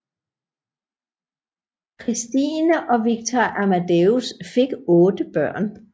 Christine og Viktor Amadeus fik otte børn